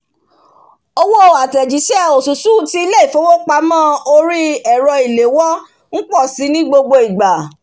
owó àtèjísé osusù ti ilé ìfowópamó orí èrọ ìléwó n pò si ní gbogbo ìgbạ̣̀